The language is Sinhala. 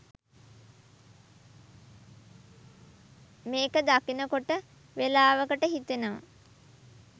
මේක දකිනකොට වෙලාවකට හිතෙනව